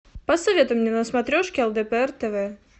посоветуй мне на смотрешке лдпр тв